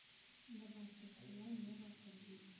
добавь пастила нева в корзину